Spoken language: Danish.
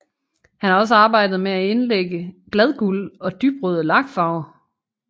Han har også arbejdet med at indlægge bladguld og dybrøde lakfarver